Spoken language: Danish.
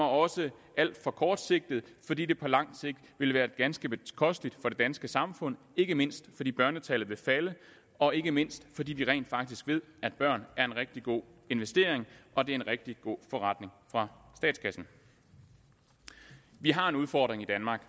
også alt for kortsigtet fordi det på lang sigt vil være ganske bekosteligt for det danske samfund ikke mindst fordi børnetallet vil falde og ikke mindst fordi vi rent faktisk ved at børn er en rigtig god investering og det er en rigtig god forretning for statskassen vi har en udfordring i danmark